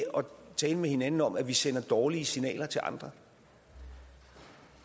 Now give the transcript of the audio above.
tale med hinanden om at vi sender dårlige signaler til andre